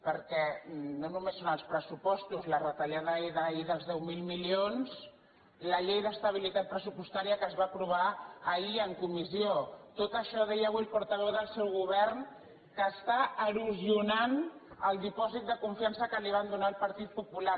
perquè no només són els pressupostos la retallada d’ahir dels deu mil milions la llei d’estabilitat pressupostària que es va aprovar ahir en comissió tot això ho deia avui el portaveu del seu govern erosiona el dipòsit de confiança que van donar al partit popular